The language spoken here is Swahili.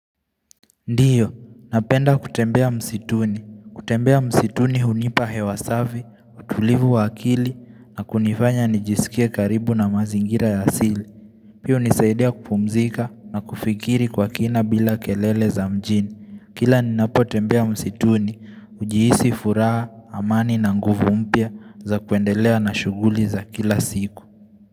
Ndiyo, napenda kutembea msituni. Kutembea msituni hunipa hewa safi, utulivu wa kili na kunifanya nijisikie karibu na mazingira ya asili. Pia hunisaidia kupumzika na kufikiri kwa kina bila kelele za mjini. Kila ninapo tembea msituni, ujihisi furaha, amani na nguvu mpya za kuendelea na shughuli za kila siku.